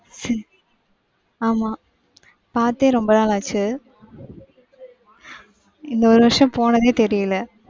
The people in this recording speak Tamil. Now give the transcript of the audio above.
ஆமா. பாத்தே ரொம்ப நாள் ஆச்சு. இந்த ஒரு வருஷம் போனதே தெரியல.